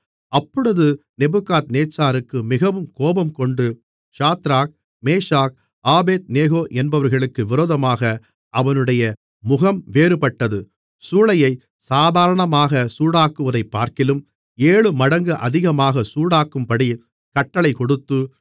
அப்பொழுது நேபுகாத்நேச்சாருக்கு மிகவும் கோபம்கொண்டு சாத்ராக் மேஷாக் ஆபேத்நேகோ என்பவர்களுக்கு விரோதமாக அவனுடைய முகம் வேறுபட்டது சூளையைச் சாதாரணமாகச் சூடாக்குவதைப்பார்க்கிலும் ஏழுமடங்கு அதிகமாகச் சூடாக்கும்படி கட்டளைகொடுத்து